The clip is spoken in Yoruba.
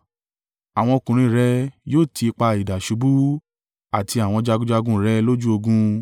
Àwọn ọkùnrin rẹ yóò ti ipa idà ṣubú, àti àwọn jagunjagun rẹ̀ lójú ogun.